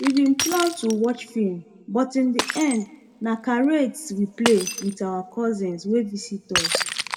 we bin plan to watch film but in the end na charades we play with our cousins wey visit us